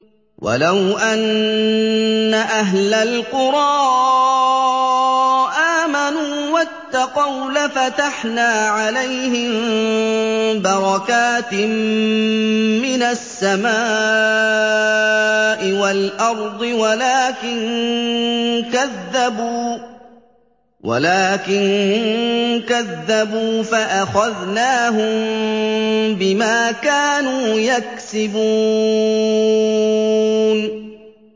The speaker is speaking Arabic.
وَلَوْ أَنَّ أَهْلَ الْقُرَىٰ آمَنُوا وَاتَّقَوْا لَفَتَحْنَا عَلَيْهِم بَرَكَاتٍ مِّنَ السَّمَاءِ وَالْأَرْضِ وَلَٰكِن كَذَّبُوا فَأَخَذْنَاهُم بِمَا كَانُوا يَكْسِبُونَ